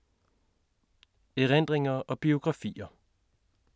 Erindringer og biografier